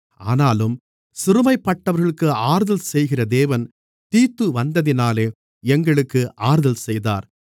ஆனாலும் சிறுமைப்பட்டவர்களுக்கு ஆறுதல் செய்கிற தேவன் தீத்து வந்ததினாலே எங்களுக்கு ஆறுதல் செய்தார்